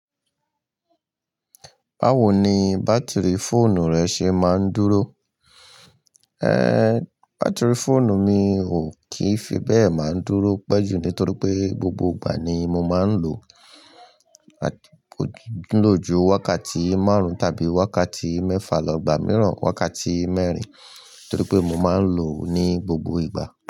Báwo ni bátìrì fóònù rẹ ṣe máa ń dúró? Ehn, bátìrì fóònù mi ò kí fi bẹ́ẹ̀ máa ń dúró pẹ́ jù nítorí pé gbogbo ìgbà ni mo máa ń lò ó.-- ó ló ju wákàtí márùn-ún tàbí wákàtí mẹ́fà lọ, gbà míìràn wákàtí mẹ́rin torí pé mo máa ń lò ó ní gbogbo ìgbà.